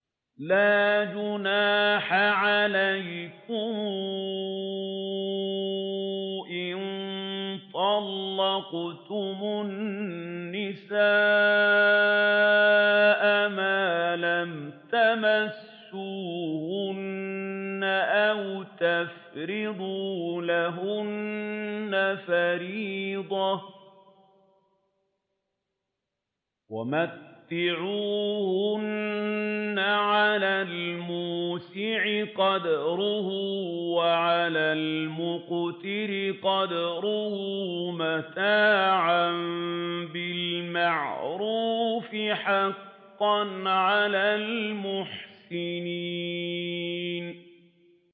لَّا جُنَاحَ عَلَيْكُمْ إِن طَلَّقْتُمُ النِّسَاءَ مَا لَمْ تَمَسُّوهُنَّ أَوْ تَفْرِضُوا لَهُنَّ فَرِيضَةً ۚ وَمَتِّعُوهُنَّ عَلَى الْمُوسِعِ قَدَرُهُ وَعَلَى الْمُقْتِرِ قَدَرُهُ مَتَاعًا بِالْمَعْرُوفِ ۖ حَقًّا عَلَى الْمُحْسِنِينَ